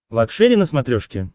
лакшери на смотрешке